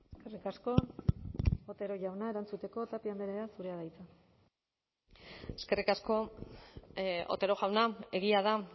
eskerrik asko otero jauna erantzuteko tapia andrea zurea da hitza eskerrik asko otero jauna egia da